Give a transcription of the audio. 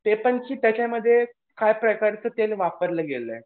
ते पण की त्याच्यामध्ये खास प्रकारचं तेल वापरलं गेलंय.